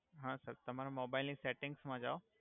હા સર તમારા મોબઇલ ની સેટિંગ્સ મા જાવ.